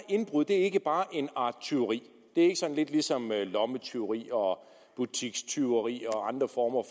indbrud er ikke bare en art tyveri det er ikke sådan lidt ligesom med lommetyveri og butikstyveri og andre former